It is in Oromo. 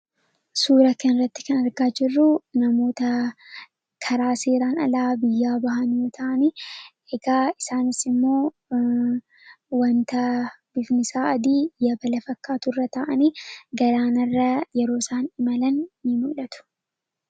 Suuraa kanarratti kan arginu namoota karaa seeraan alaa biyyaa bahan yommuu ta'an, egaa isaanis immoo wants bifti isaa adii yabala fakkaatu irra taa'anii galaanarra yeroo isaan imalan ni mul'atu.